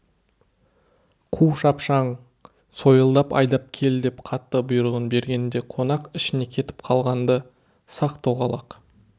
қу шапшаң сойылдап айдап кел деп қатты бұйрығын берген де қонақ ішіне кетіп қалған-ды сақ-тоғалақ